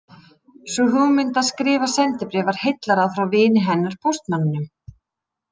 Sú hugmynd að skrifa sendibréf var heillaráð frá vini hennar póstmanninum